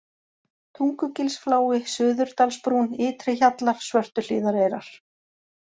Tungugilsflái, Suðurdalsbrún, Ytri-Hjallar, Svörtuhlíðareyrar